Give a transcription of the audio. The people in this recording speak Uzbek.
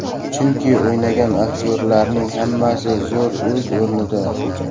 Chunki o‘ynagan aktyorlarning hammasi zo‘r, o‘z o‘rnida.